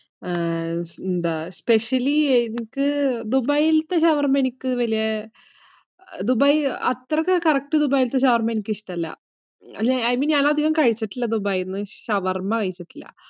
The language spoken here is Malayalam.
ആഹ് എന്താ? specially ദുബായിതെ ഷവർമ്മ എനിക്ക് വലിയ. അത്രയ്ക്ക് correct ദുബായിത്തെ ഷവർമ്മ എനിക്ക് ഇഷ്ടമല്ല. അയിന് ഞാൻ അധികം കഴിച്ചിട്ടില്ല ദുബായിന്നു, ഷവർമ്മ കഴിച്ചിട്ടില്ല.